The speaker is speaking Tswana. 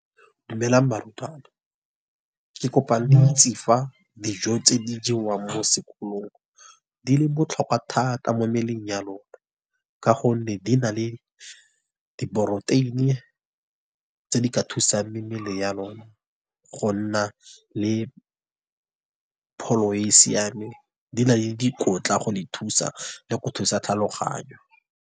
Dumelang barutwana, ke kopa loitse fa dijo tse di jewang mo sekolong. Di le botlhokwa thata mo mmeleng ya lona, ka gonne di na le di poroteini, tse di ka thusang mebele ya lona gonna le pholo e e siameng. Di na le dikotla go le thusa, le go thusa tlhaloganyo.